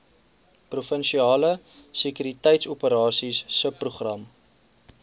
provinsiale sekuriteitsoperasies subprogram